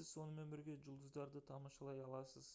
сіз сонымен бірге жұлдыздарды тамашалай аласыз